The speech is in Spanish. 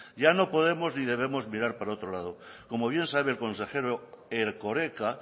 ya no podemos ni debemos mirar para otro lado como bien sabe el consejero erkoreka